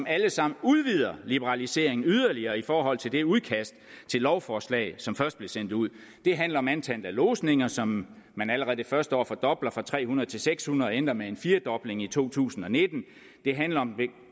alle sammen liberaliseringen yderligere i forhold til det udkast til lovforslag som først blev sendt ud det handler om antallet af lodsninger som man allerede det første år fordobler fra tre hundrede til seks hundrede og ender med en firdobling i to tusind og nitten det handler om